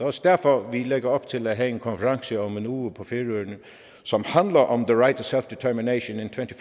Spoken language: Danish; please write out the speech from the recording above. også derfor vi lægger op til at have en konference om en uge på færøerne som handler om the right of self determination in twenty